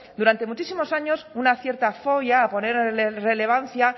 durante muchísimos años una cierta fobia a poner relevancia